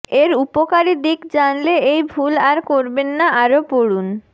এর উপকারী দিক জানলে এই ভুল আর করবেন না আরও পড়ুন